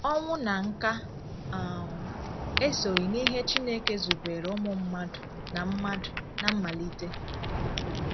Ọnwụ na nká um esoghị n’ihe Chineke zubeere ụmụ mmadụ ná mmadụ ná mmalite.